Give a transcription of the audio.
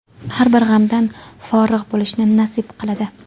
har bir g‘amdan forig‘ bo‘lishni nasib qiladi.